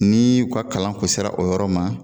Nii u ka kalan kun sera o yɔrɔ ma